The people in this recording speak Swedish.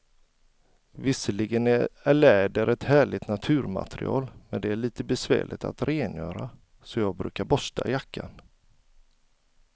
Visserligen är läder ett härligt naturmaterial, men det är lite besvärligt att rengöra, så jag brukar borsta jackan.